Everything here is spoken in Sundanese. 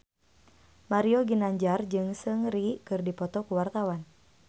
Mario Ginanjar jeung Seungri keur dipoto ku wartawan